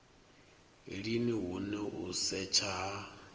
lini hune u setsha ha